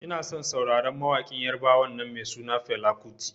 Inason sauraron mawaƙin yarbawan nan mai suna Fela kuti.